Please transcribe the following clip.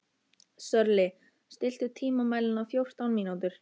Sörli, stilltu tímamælinn á fjórtán mínútur.